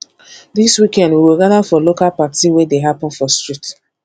dis weekend we go gather for local party wey dey happen for street